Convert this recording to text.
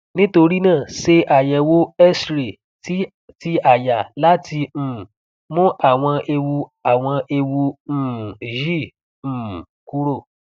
nitorina se ayewo xray ti ti aya lati um mu awon ewu awon ewu um yi um kuro